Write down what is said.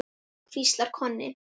hvíslar Konni.